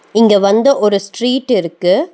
இங்க வந்து ஒரு ஸ்ட்ரீட் இருக்கு.